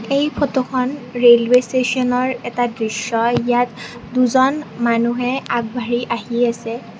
এই ফটোখন ৰেলৱে ষ্টেচনৰ এটা দৃশ্য ইয়াত দুজন মানুহে আগবাঢ়ি আহি আছে।